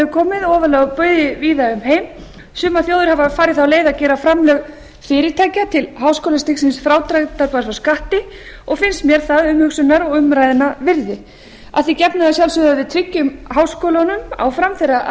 komið ofarlega á baugi víða um heim sumar þjóðir hafa farið þá leið að gera framlög fyrirtækja til háskólastigsins frádráttarbær frá skatti finnst mér það umhugsunar og umræðunnar virði að því gefnu að sjálfsögðu við tryggjum háskólunum áfram þeirra